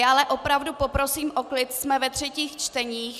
Já ale opravdu poprosím o klid, jsme ve třetích čteních.